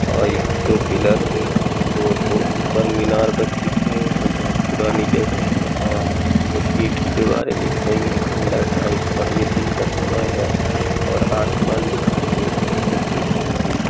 और यहाँ दो पिलर ऊ दो ठो ऊपर मीनार बस दिख रहे हैं। बहुत पुरानी जगह है और कुछ ईंट कि दीवारें दिख रही हैं। खंडर टाइप और ये दिन का समय है और आसमान दिखाई दे रहा है। धूप निकली हुई है।